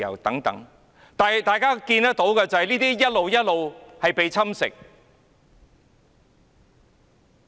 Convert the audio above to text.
然而，大家看到的是，這一切都逐漸被侵蝕。